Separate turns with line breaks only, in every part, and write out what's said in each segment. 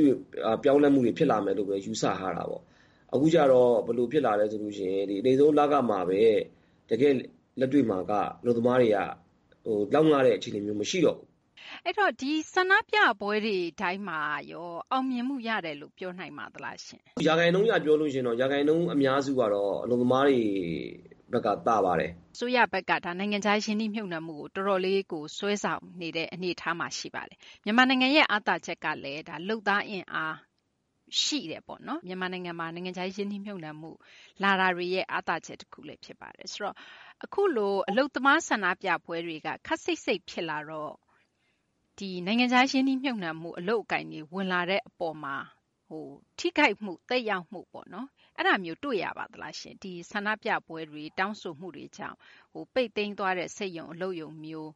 င် ပြောင်းလဲမှုတွေ ဖြစ်လာမယ်လို့ဘဲ ယူဆထားတာပေါ့။ အခုရောက်တော့ ဘယ်လို ဖြစ်လာလဲ ဆိုတော့ အနိမ့်ဆုံး လခမှာဘဲ တကယ့် လက်တွေ့မှာက အလုပ်သမားတွေက လောက်ငတဲ့ အခြေအနေမျိုး မရှိတော့ဘူး
။ သိင်္ဂ ီထိုက် ။ ။ ဒီ ဆန္ဒပြပွဲတွေ တိုင်းမှာရော အောင်မြင်မှု ရတယ်လို့ ပြောနိုင်ပါသလားရှင့်
။ ကိုသူရိန်အောင် ။ ။ ရာခိုင်နှုန်း အရ ပြောမယ်ဆိုရင်တော့ ရာခိုင်နှုန်း အများစုက အလုပ်သမားတွေဘက်က သာပါတယ်
။ သိင်္ဂ ီထိုက် ။ ။ အစိုးရဘက်က ဒီ နိုင်ငံခြား ရင်းနှီးမြှုပ်နှံမှုကို တော်တော်လေး စွဲဆောင်နေတဲ့ အနေအထားမှာ ရှိပါတယ်။ မြန်မာနိုင်ငံရဲ့ အားသာချက်ကလည်း လုပ်သား အင်အား ရှိတယ်ပေါ့နော်။ မြန်မာနိုင်ငံမှာ နိုင်ငံခြား ရင်းနှီးမြှုပ်နှံမှု လာတာတွေရဲ့ အားသာချက် တခုလည်း ဖြစ်ပါတယ်။ ဆိုတော့ အခုလို အလုပ်သမား ဆန္ဒပြပွဲတွေက ခပ်စိပ်စိပ် ဖြစ်လာတော့ နိုင်ငံခြား ရင်းနှီးမြှုပ်နှံမှု အလုပ်အကိုင်တွေ ဝင်လာတဲ့ အပေါ်မှာ ထိခိုက်မှု သက်ရောက်မှုပေါ့နော်။ အဲဒါမျိုးတွေ့ရပါသလားရှင့်။ ဆန္ဒပြပွဲတွေ တောင်းဆိုမှုတွေကြောင့် ပိတ်သိမ်းသွားတဲ့ စက်ရုံ အလုပ်ရုံမျိုး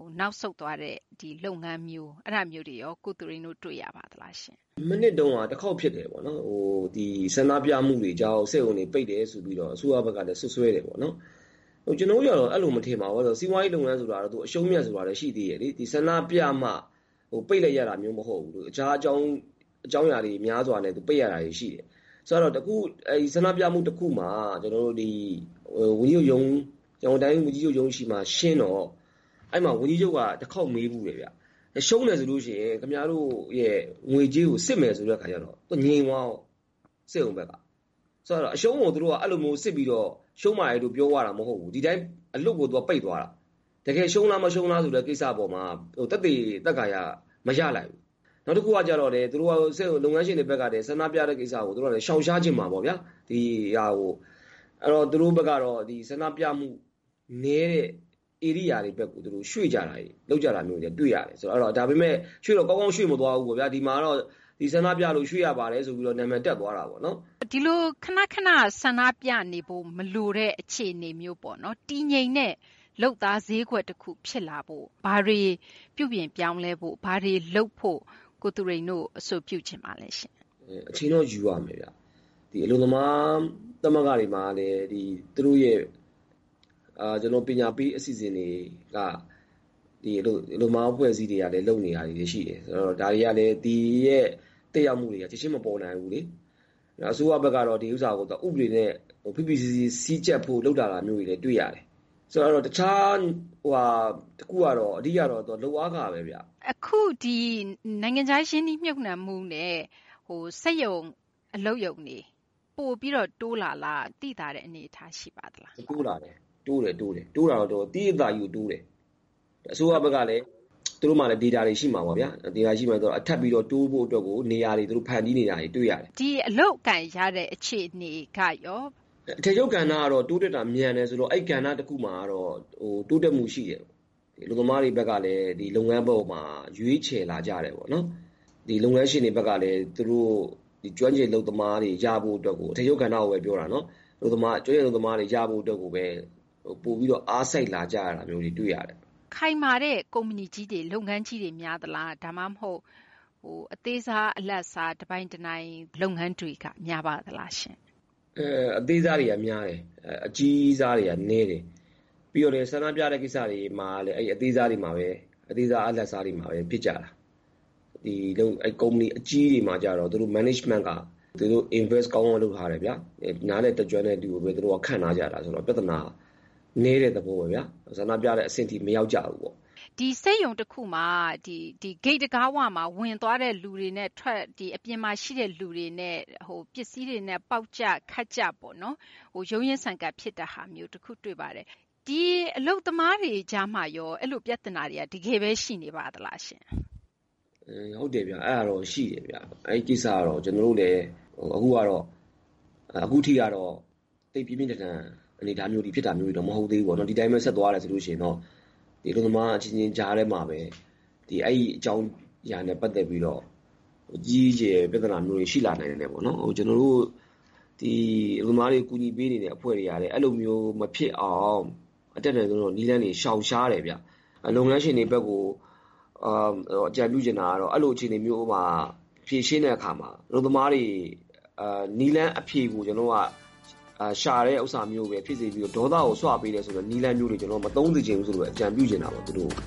၊ နောက်ဆုတ်သွားတဲ့ လုပ်ငန်းမျိုး အဲဒါမျိုးတွေရော ကိုသူရိန်တို့ တွေ့ရပါသလား။ ကို
သူရိန်အောင် ။ ။ မနှစ်တုန်းက တခေါက် ဖြစ်တယ်ပေါ့နော်။ ဆန္ဒပြမှုတွေကြောင့် စက်ရုံတွေ ပိတ်တယ်ဆိုပြီးတော့ အစိုးရကလည်း စွပ်စွဲတယ် ပေါ့နော်။ ကျနော်တို့ ကတော့ အဲလို မထင်ပါဘူး။ စီးပွားရေး လုပ်ငန်းဆိုတာ အရှုံး အမြတ်ဆိုတာလည်း ရှိသေးတယ်ပေါ့နော်။ ဒီ ဆန္ဒပြမှ ပိတ်လိုက်ရတာမျိုး မဟုတ်ဘူး။ တခြား အကြောင်းအရာတွေ များစွာနဲ့ ပိတ်လိုက်ရတာတွေ ရှိတယ်။ ဆန္ဒပြမှု တခုမှာ ရန်ကုန်တိုင်း ဝန်ကြီးချုပ်ရုံးရှေ့မှာ ရှင်းတော့ အဲဒီမှာ ဝန်ကြီးချုပ်က တခေါက် မေးဖူးတယ်ပေါ့။ ရှုံးတယ် ဆိုလို့ ရှိရင် ခင်ဗျားတို့ရဲ့ ငွေကြေးကို စစ်မယ်ဆိုတဲ့ အခါကျတော့ သူက ငြိမ်သွားရော။ စက်ရုံဘက်က။ အရှုံးကို သူတို့က အဲလိုမျိုး စစ်ပြီးတော့ ရှုံးပါတယ်လို့ ပြောသွားတာ မဟုတ်ဘူး။ အလွတ်ကို ပိတ်သွားတာ။ တကယ် ရှုံးလား မရှုံးလားဆိုတဲ့ သက်သေ မရလိုက်ဘူး။ နောက်တခုကလည်း သူတို့ စက်ရုံ လုပ်ငန်းရှင်တွေ ဘက်ကလည်း ဆန္ဒပြတဲ့ ကိစ္စကို သူတို့က ရှောင်ရှားချင်မှာပေါ့ဗျာ။ အဲတော့ သူတို့ဘက်ကတော့ ဒီ ဆန္ဒပြမှု နည်းတဲ့ ဧရိယာတွေဘက်ကို ရွှေ့ကြတာမျိုး လုပ်ကြတာမျိုးတွေလည်း တွှေ့ရတယ် ဆိုတော့။ ဒါပေမယ့် ရွှေ့တော့ ကောင်းကောင်း ရွှေ့မသွားဘူး ပေါ့ဗျာ။ ဒီမှာတော့ ဒီ ဆန္ဒပြလို့ ရွှေ့ရပါတယ်လို့ နာမည်တပ်သွား တာပေါ့နော်
။ သိင်္ဂ ီထိုက် ။ ။ ဒီလို ခန ခန ဆန္ဒပြနေဖို့ မလိုတဲ့ အခြေအနေမျိုး တည်ငြိမ်တဲ့ လုပ်သား ဈေးကွက်တခု ဖြစ်လာဖို့ ဘာတွေ ပြုပြင်ပြောင်းလဲဖို့ ၊ ဘာတွေ လုပ်ဖို့ ကိုသူရိန်တို့ အဆိုပြုလိုပါသလဲ။ က
ိုသူရိန်အောင် ။ ။ အချိန်တော့ ယူရမယ်ဗျ။ အလုပ်သမား သမဂ္ဂတွေမှာလည်း သူတို့ရဲ့ ပညာပေး အစီအစဉ်တွေက အလုပ်သမား အဖွဲ့အစည်းတွေက လုပ်နေတာတွေလည်း ရှိတယ်။ ဒါတွေကလည်း ဒီရဲ့ သက်ရောက်မှုတွေက ချက်ချင်း မပေါ်နိုင်ဘူးလေ။ အစိုးရဘက်ကတော့ ဒီဥစ္စာကို ဥပဒေနဲ့ ဖိဖိစီးစီး စည်းကြပ်ဖို့ လုပ်လာတာလည်း တွေ့ရတယ်။ တခြား တခုကတော့ လုပ်အားခဘဲဗျ။ သိင်္ဂ ီထိုက် ။ ။ အ
ခု ဒီ နိုင်ငံခြား ရင်းနှီးမြှုပ်နှံမှုနဲ့ စက်ရုံ အလုပ်ရုံတွေ ပိုပြီးတော့ တိုးလာလား၊ သိသာတဲ့ အနေအထား ရှိပါလာ
း။ ကိုသူရိန်အောင် ။ ။ တိုးတယ်၊ သိသိသာသာ တိုးတယ်။ အစိုးရဘက်ကလည်း သူတို့မှာလည်း ဒေတာတွေ ရှိမှာပေါ့ဗျာ။ ဒေတာတွေ ရှိတော့ ထပ်ပြီးတော့ တိုးဖို့ အတွက်ကို နေရာတွေ ဖန်တီးနေတာတွေ တွေ့ရတယ်
။ သိင်္ဂ ီထိုက် ။ ။ ဒီ အလုပ်အကိုင်ရတဲ့ အခြေအနေ ကရော။ ကိုသူရိန်အောင်
။ ။ အထည်ချုပ် ကဏ္ဍကတော့ တိုးတက်တာ မြန်တယ်ဆိုတော့ အဲဒီ ကဏ္ဍ တခုမှာတော့ တိုးတက်မှု ရှိတယ်။ အလုပ်သမားတွေ အနေနဲ့လည်း ဒီ လုပ်ငန်း အပေါ်မှာ ရွေးချယ်လာကြတယ်ပေါ့နော်။ ဒီ လုပ်ငန်းရှင်တွေ ဘက်ကလည်း သူတို့ ကျွမ်းကျင် အလုပ်သမားတွေ ရဖို့ အတွက်ကို အထည်ချုပ်ကဏ္ဍ အတွက်ကိုဘဲ ပြောတာနော်။ ကျွမ်းကျင် အလုပ်သမားတွေ ရဖို့ အတွက်ကိုဘဲ ပိုပြီးတော့ အားစိုက် လာကြရတာမျိုးတွေ တွေ့ရတယ်။
သိင်္ဂ ီထိုက် ။ ။ ခိုင်မာတဲ့ ကုမ္ပဏီကြီးတွေ လုပ်ငန်းကြီးတွေ များသလား၊ ဒါမှမဟုတ် အသေးစား အလတ်စား တပိုင်တနိုင် လုပ်ငန်းတွေက များပါသလားရှင့်။
ကိုသူရိန်အောင် ။ ။ အသေးစားတွေက များတယ်။ အကြီးစားတွေက နည်းတယ်။ ပြီးတော့ ဆန္ဒပြတဲ့ ကိစ္စတွေမှာလည်း အဲဒီ အသေးစား အလတ်စားတွေမှာဘဲ ဖြစ်ကြတာ။ ဒီ ကုမ္ပဏီ အကြီးကြီးတွေ မှာကျတော့ သူတို့ Management က သူတို့က ရင်းနှီးမြှုပ်နှံမှု ကောင်းကောင်းလုပ်ထားတယ်ဗျာ။ နားလည်တတ်ကျွမ်းတဲ့ သူတွေကိုဘဲ သူတို့က ခန့်ထားကြတာ ဆိုတော့ ပြသနာ နည်းတဲ့ သဘောပေါ့ဗျာ။ ဆန္ဒပြတဲ့ အဆင့်ထိ မရောက်ကြဘူးပေါ့
။ သိင်္ဂ ီထိုက် ။ ။ ဒီ စက်ရုံ တခုမှာ ဂိတ်တံခါးဝမှာ ဝင်သွားတဲ့ သူတွေနဲ့ အပြင်မှာ ရှိတဲ့ သူတွေနဲ့ ပစ္စည်းတွေနဲ့ ပေါက်ကြ ခတ်ကြပေါ့နော် ရုန်းရင်းဆန်ခတ် ဖြစ်ကြတာမျိုး တွေ့တယ်ပေါ့နော်။ ဒီ အလုပ်သမားတွေ ကြားမှာရော အဲလို ပြသနာတွေက တကယ်ဘဲ ရှိနေပါသလားရှင့်။
ကိုသူရိန်အောင် ။ ။ ဟုတ်တယ်ဗျ။ အဲဒါတော့ ရှိတယ်ဗျ။ အဲဒီ ကိစ္စကတော့ ကျနော်တို့လည်း အခုကတော့ သိပ်ပြင်းပြင်းထန်ထန် အနေအထားမျိုးထိ ဖြစ်တာမျိုးတော့ မဟုတ်သေးဘူးပေါ့နော် ဒီတိုင်းဘဲ ဆက်သွားတယ် ဆိုလို့ ရှိရင်ပေါ့။ ဒီအလုပ်သမား အချင်းချင်း ကြားမှာဘဲ အဲဒီ အကြောင်းအရာနဲ့ ပတ်သက်ပြီးတော့ ကြီးကြီးကျယ်ကျယ် ပြသနာမျိုးတွေ ရှိနေနိုင်တယ်ပေါ့နော်။ ကျနော်တို့ ဒီ အလုပ်သမားတွေ ကူညီပေးနေတဲ့ အဖွဲ့တွေကလည်း အဲလိုမျိုး မဖြစ်အောင် အတတ်နိုင်ဆုံးတော့ နည်းလမ်းတွေ ရှောင်ရှားတယ်ဗျ။ လုပ်ငန်းရှင်တွေဘက်ကို အကြံပြုချင်တာကတော့ အဲလို အခြေအနေမျိုးမှာ ဖြေရှင်းတဲ့ အခါမှာ အလုပ်သမားတွေ နည်းလမ်း အဖြေကို ရှာတာမျိုးဘဲ ဖြစ်စေချင်တယ်။ ဒေါသကို ဆွပေးတယ်ဆိုတဲ့ နည်းလမ်းမျိုးတွေ မသုံးစေချင်ဘူးဆိုပြီး အကြံပြုချင်တာပေါ့ သူတို့